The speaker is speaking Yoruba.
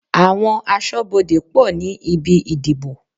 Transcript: Àwọn aṣọ́bodè pọ̀ ní ibi ìdìbò.